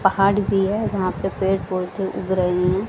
पहाड़ भी है जहां पे पेड़ पौधे उग रहे हैं।